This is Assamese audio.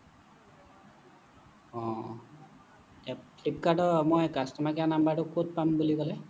অহ অহ flipkart ৰ customer care ৰ মই number টো ক'ত পাম বুলি কলে